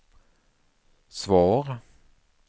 svar